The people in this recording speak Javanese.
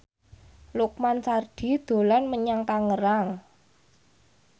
Lukman Sardi dolan menyang Tangerang